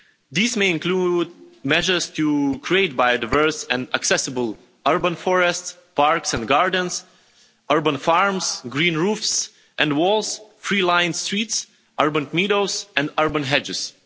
These may include measures to create biodiverse and accessible urban forest, parks and gardens, urban farms, green roofs and walls, tree lined streets, urban meadows and urban hedges.